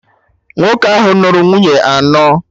Nwoke ahụ nụrụ nwunye anọ